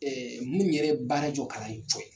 minnu yɛrɛ ye baara jɔ kalan ye cɔye.